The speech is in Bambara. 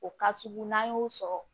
O ka sugu n'an y'o sɔrɔ